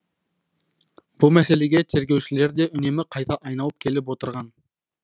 бұл мәселеге тергеушілер де үнемі қайта айналып келіп отырған